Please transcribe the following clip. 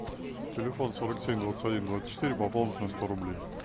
телефон сорок семь двадцать один двадцать четыре пополнить на сто рублей